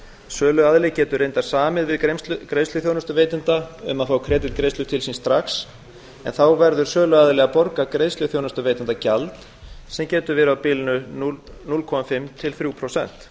söluaðili getur reyndar samið við greiðsluþjónustuveitanda um að fá kreditgreiðslur til sín strax en þá verður söluaðili að borga greiðsluþjónustuveitanda gjald sem getur verið á bilinu núll komma fimm prósent til þrjú prósent